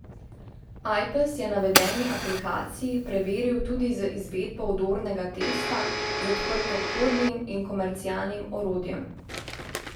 Ajpes je navedeni aplikaciji preveril tudi z izvedbo vdornega testa z odprtokodnim in komercialnim orodjem.